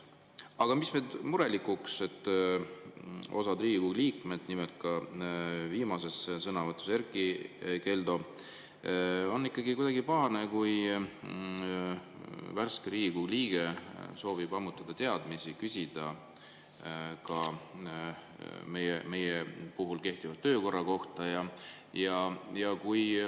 Aga murelikuks teeb, et osad Riigikogu liikmed on ikkagi kuidagi pahased, nagu oli viimases sõnavõtus ka Erkki Keldo, kui värske Riigikogu liige soovib ammutada teadmisi ja küsida ka kehtiva töökorra kohta.